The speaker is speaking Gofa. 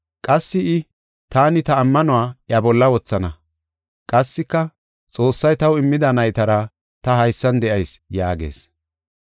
Qassi I, “Taani ta ammanuwa iya bolla wothana” Qassika, “Xoossay taw immida naytara ta haysan de7ayis” yaagees.